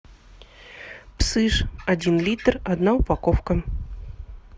псыш один литр одна упаковка